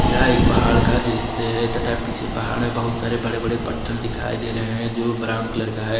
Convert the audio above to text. यह एक पहाड़ का दृश्य है तथा पीछे पहाड़ में बहुत सारे बड़े बड़े पत्थल दिखाई दे रहे हैं जो ब्राउन कलर का है।